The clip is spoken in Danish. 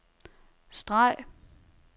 streg